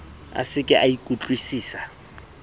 a se ke a ikutlwusisa